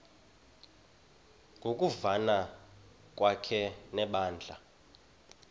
ngokuvana kwakhe nebandla